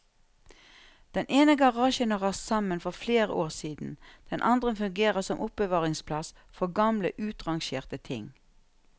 Den ene garasjen har rast sammen for flere år siden, den andre fungerer som oppbevaringsplass for gamle utrangerte ting.